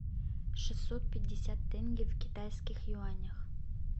шестьсот пятьдесят тенге в китайских юанях